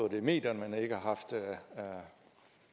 det i medierne men ikke har haft